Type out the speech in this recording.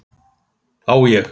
Á ég?